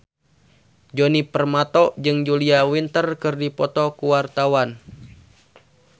Djoni Permato jeung Julia Winter keur dipoto ku wartawan